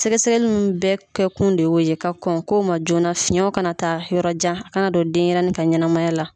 Sɛgɛ sɛgɛliw nun bɛɛ kɛ kun de ye o ye ka kɔn ko ma joona fiyɛnw kana taa yɔrɔ jan a kana don denɲɛrɛnin ka ɲɛnamaya la.